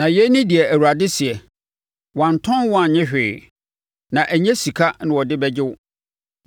Na yei ne deɛ Awurade seɛ: “Wɔantɔn wo annye hwee, na ɛnyɛ sika na wɔde bɛgye wo.”